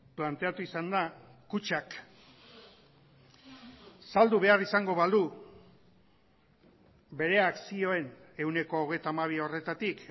planteatu izan da kutxak saldu behar izango balu bere akzioen ehuneko hogeita hamabi horretatik